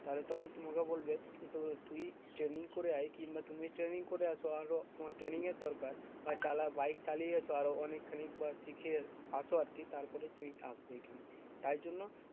তাহলে তখন তোমাকেও বলবে যে তু তুই training করে আয় কিংবা তুমি training করে আসো আরও তোমার training এর দরকার। বা চালা বাইক চালিয়ে এস আরো অনেকখানি বা শিখে আসো আরকি তারপরে তুমি আসবে এইখানে। তাই জন্য